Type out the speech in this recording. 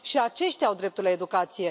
Și aceștia au dreptul la educație.